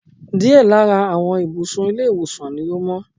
Díẹ̀ lára àwọn ibùsùn ilé ìwòsan ni ò mó